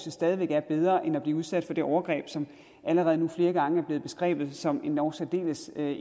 er stadig væk bedre end det bliver udsat for det overgreb som allerede nu flere gange er blevet beskrevet som endog særdeles